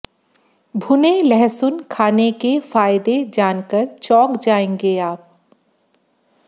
भुने लहसुन खाने के फ़ायदे जानकर चौंक जायेंगे आप